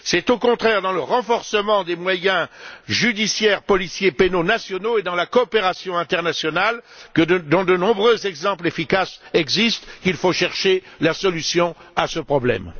C'est au contraire dans le renforcement des moyens judiciaires, policiers et pénaux nationaux, ainsi que dans la coopération internationale, dont de nombreux exemples efficaces existent, qu'il faut chercher la solution à ce problème.